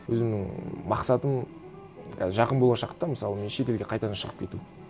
өзімнің мақсатым жақын болашақта мысалы мен шетелге қайтадан шығып кету